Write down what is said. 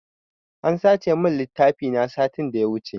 An sace min littafi na satin da ya wuce.